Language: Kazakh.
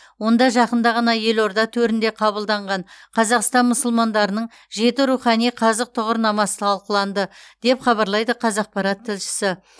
онда жақында ғана елорда төрінде қабылданған қазақстан мұсылмандарының жеті рухани қазық тұғырнамасы талқыланды деп хабарлайды қазақпарат тілшісі